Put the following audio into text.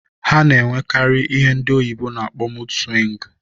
Ha na-enwekarị ihe ndị oyibo na-akpọ mud swịngụ.